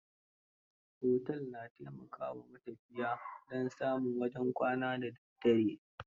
Otel, na taimaka wa matafiya don samin wajen kwana da daddare.